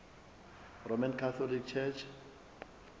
roman catholic church